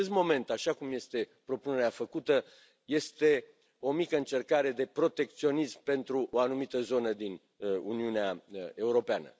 În acest moment, așa cum este propunerea făcută, este o mică încercare de protecționism pentru o anumită zonă din Uniunea Europeană.